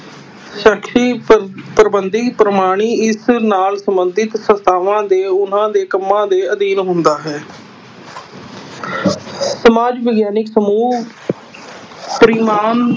ਪ੍ਰਬੰਧੀ ਪ੍ਰਮਾਣੀ ਇਸ ਨਾਲ ਸੰਬੰਧਿਤ ਸੰਸਥਾਵਾਂ ਦੇ ਉਹਨਾਂ ਦੇ ਕੰਮਾਂ ਦੇ ਅਧੀਨ ਹੁੰਦਾ ਹੈ ਸਮਾਜ ਵਿਗਿਆਨਕ ਸਮੂਹ ਪ੍ਰਮਾਣ